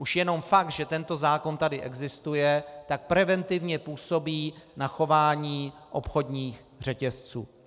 Už jenom fakt, že tento zákon tady existuje, tak preventivně působí na chování obchodních řetězců.